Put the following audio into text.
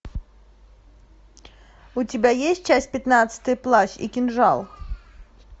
у тебя есть часть пятнадцатая плащ и кинжал